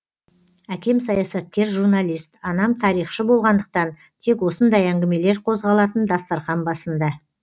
әкем саясаткер журналист анам тарихшы болғандықтан тек осындай әңгімелер қозғалатын дастархан басында